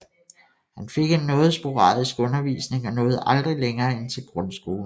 Han fik en noget sporadisk undervisning og nåede aldrig længere end til grundskolen